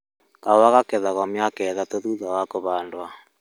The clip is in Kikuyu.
Kahũa kagethagwo mĩaka ĩtatũ thutha wa kũhandwo